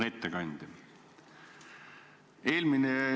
Hea ettekandja!